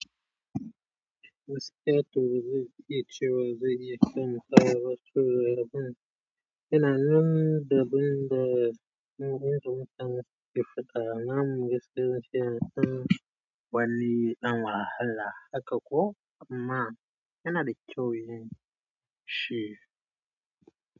Wasu 'yan turuɗi masu cewa za a yi kamfafa turuɗin yana nan da bin da wurin da wuta ke fita, namu gaskiya ce, sun wali ɗan wahala haka ko amma yana da kyau yi shi.